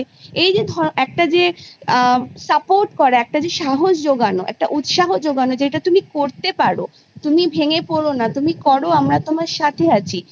এই যে ধ একটা যে আ Support করা একটা যে সাহস জোগানো একটা উৎসাহ জোগানো যেটা তুমি করতে পারো তুমি ভেঙে পর না তুমি করো আমরা তোমার সাথে আছি